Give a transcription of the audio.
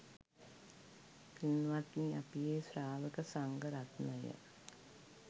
පින්වත්නි අපි ඒ ශ්‍රාවක සංඝරත්නය